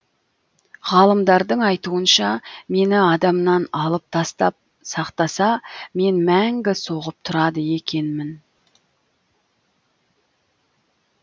ғалымдардың айтуынша мені адамнан алып тастап сақтаса мен мәңгі соғып тұрады екенмін